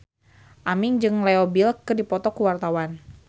Aming jeung Leo Bill keur dipoto ku wartawan